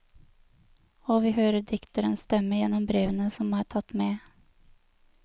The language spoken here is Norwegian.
Og vi hører dikterens stemme gjennom brevene som er tatt med.